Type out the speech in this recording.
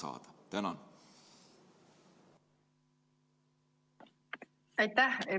Aitäh!